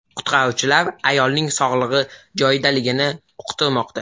Qutqaruvchilar ayolning sog‘lig‘i joyidaligini uqtirmoqda.